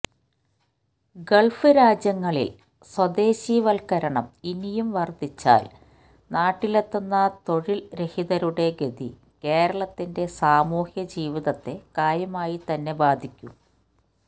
Gulf രാജ്യങ്ങളില് സ്വദേശിവല്ക്കരണം ഇനിയും വര്ദ്ധിച്ചാല് നാട്ടിലെത്തുന്ന തൊഴില് രഹിതരുടെ ഗതി കേരളത്തിന്റെ സാമൂഹ്യജീവിതത്തെ കാര്യമായിത്തന്നെ ബാധിക്കും